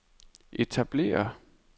etablere